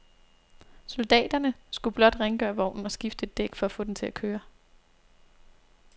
Soldaterne skulle blot rengøre vognen og skifte et dæk for at få den til at køre.